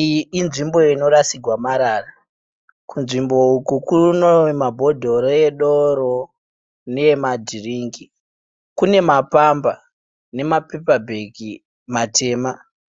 Iyi inzvimbo inorasirwa marara. Kunzvimbo uku kune mabhodhoro edoro neemadhiringi. Kune mapamba nemapepabhegi matema